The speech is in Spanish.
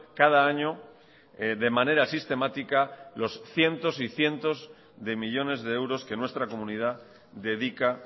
cada año de manera sistemática los cientos y cientos de millónes de euros que nuestra comunidad dedica